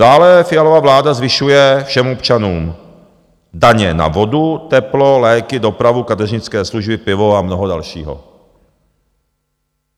Dále Fialova vláda zvyšuje všem občanům daně na vodu, teplo, léky, dopravu, kadeřnické služby, pivo a mnoho dalšího.